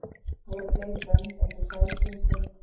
Voru fleiri bönd einsog Sæskrímslin?